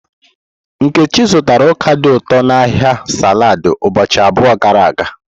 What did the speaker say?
Nkechi zụtara ọka dị ụtọ n'ahịa saladi ụbọchị abụọ gara aga.